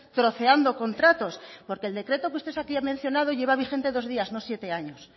troceando contratos porque el decreto que usted aquí ha mencionado lleva vigente dos días no siete años